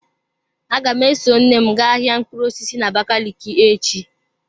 Aga m eso nne m gaa ahia mkpụrụ osisi n'abakaliki echi.